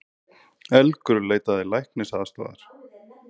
Elgur leitaði læknisaðstoðar